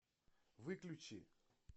выключи